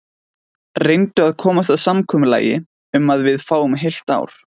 Reyndu að komast að samkomulagi um að við fáum heilt ár.